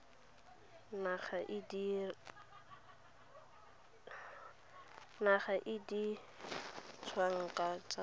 naga e di tswang kwa